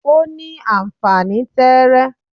o ni anfani tẹẹrẹ